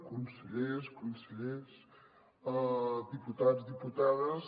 consellers conselleres diputats diputades